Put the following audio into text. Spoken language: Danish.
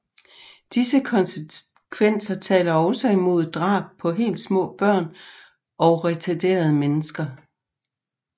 Disse konsekvenser taler også imod drab på helt små børn og retarderede mennesker